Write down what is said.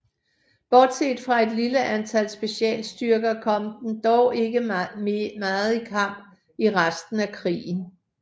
Bortset fra et lille antal specialstyrker kom den dog ikke meget i kamp i resten af krigen